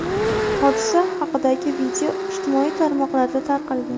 Hodisa haqidagi video ijtimoiy tarmoqlarda tarqalgan.